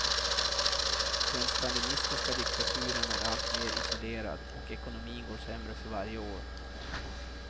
Den stalinistiska diktaturen är alltmer isolerad och ekonomin går sämre för varje år.